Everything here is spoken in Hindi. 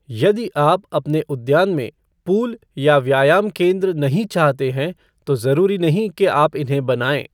यदि आप अपने उद्यान में पूल या व्यायाम केन्द्र नहीं चाहते हैं तो जरूरी नहीं कि आप इन्हें बनाएं।